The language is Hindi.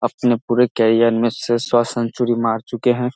अपने पुरे कैरियर में से सौ सेंचुरी मार चुके हैं।